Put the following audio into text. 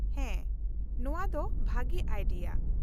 -ᱦᱮᱸ, ᱱᱚᱶᱟ ᱫᱚ ᱵᱷᱟᱹᱜᱤ ᱟᱭᱰᱤᱭᱟ ᱾